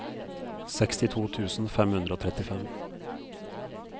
sekstito tusen fem hundre og trettifem